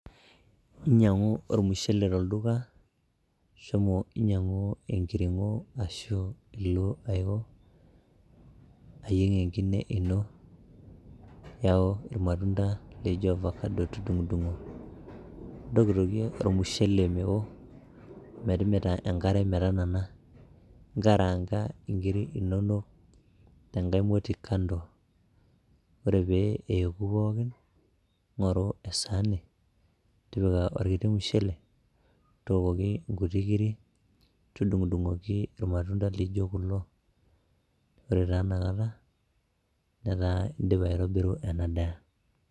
inyiang'u ormushele tolduka shomo inyiang'u enkirng'o ashu ilo aiko, ayieng enkine ino, iyau irmatunda laijo ovacado tudung'udung'o intokitokie ormushele mewo metimita enkare metanana nkaranga inkiri inonok tenkae moti kando ore pee eku pookin ng'oru esaani tipika orkiti mushele tokoki inkuti kiri tudung'udung'oki irmatunda lijo kulo ore taa inakata netaa indipa aitobiru ena daa.